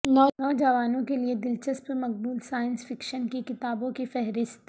نوجوانوں کے لئے دلچسپ مقبول سائنس فکشن کی کتابوں کی فہرست